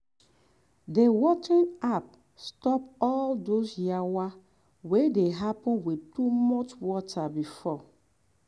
the watering app stop all those yawa wey dey happen with too much water before.